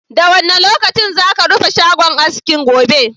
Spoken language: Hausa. Da wane lokaci za ka rufe shagon aski gobe?